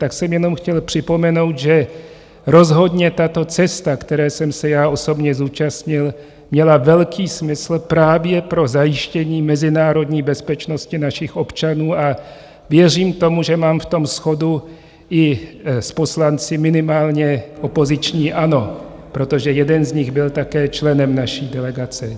Tak jsem jenom chtěl připomenout, že rozhodně tato cesta, které jsem se já osobně zúčastnil, měla velký smysl právě pro zajištění mezinárodní bezpečnosti našich občanů, a věřím tomu, že mám v tom shodu i s poslanci minimálně opoziční ANO, protože jeden z nich byl také členem naší delegace.